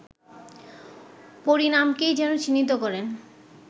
পরিণামকেই যেন চিহ্নিত করেন